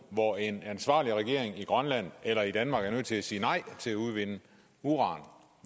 hvor en ansvarlig regering i grønland eller i danmark er nødt til at sige nej til udvinding af uran